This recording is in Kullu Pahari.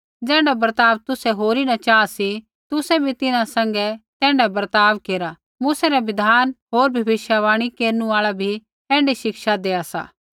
ज़ैण्ढा बर्ताव तुसै होरी न च़ाहा सी तुसै भी तिन्हां सैंघै तैण्ढाऐ बर्ताव केरा मूसै रा बिधान होर भविष्यवाणी केरनु आल़ा भी ऐण्ढी शिक्षा देआ सा